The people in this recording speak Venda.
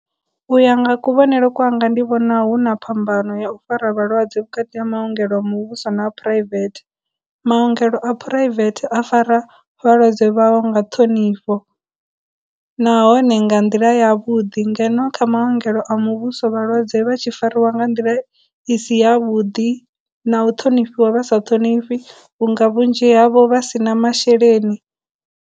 U ya nga kuvhonele kwanga ndi vhona huna phambano ya u fara vhalwadze vhukati ha maongelo muvhuso na a private, maongelo a private a fara vhalwadze vhao nga ṱhonifho, nahone nga nḓila ya vhuḓi, ngeno kha maongelo a muvhuso vhalwadze vha tshi fariwa nga nḓila i si ya vhuḓi, na u ṱhonifhiwa vhasa ṱhonifhiwi vhunga vhunzhi havho vha sina masheleni.